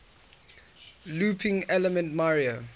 looping elements mario